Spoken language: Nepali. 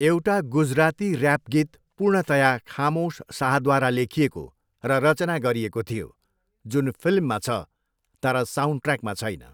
एउटा गुजराती र्याप गीत पूर्णतया खामोश शाहद्वारा लेखिएको र रचना गरिएको थियो, जुन फिल्ममा छ तर साउन्डट्र्याकमा छैन।